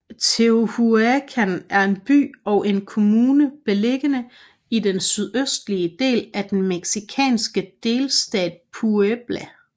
Tehuacán er en by og en kommune beliggende i den sydøstlige del af den mexikanske delstat Puebla